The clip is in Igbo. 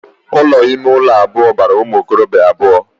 Ụlọ ime ụlọ abụọ bara ụmụ okorobia abụọ